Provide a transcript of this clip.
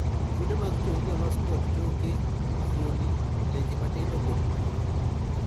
Fwonde mag chongi olos kod choke, fuoni, leche matindo kod pi